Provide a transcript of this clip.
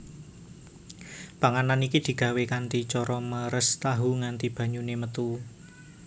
Panganan iki digawé kanthi cara meres tahu nganti banyune metu